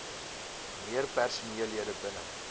meer personeellede binne